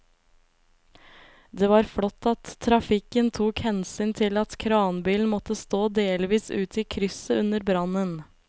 Det var flott at trafikken tok hensyn til at kranbilen måtte stå delvis ute i krysset under brannen.